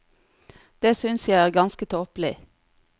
Det synes jeg er ganske tåpelig.